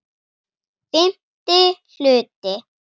FIMMTI HLUTI